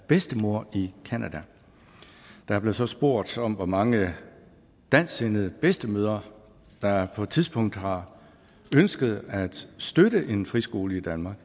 bedstemor i canada der blev så spurgt om hvor mange dansksindede bedstemødre der på et tidspunkt har ønsket at støtte en friskole i danmark